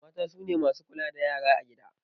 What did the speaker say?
Mata sune masu kula da yara a gida